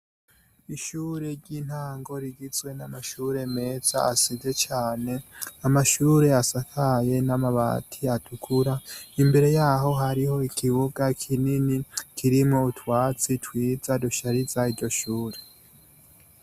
Ishure ry'intango rigizwe n'amashure meza asize cane, amashure asakaye n'amabati atukura, imbere yaho hariho ikibuga kinini kirimwo utwatsi twiza dushariza iryo shure.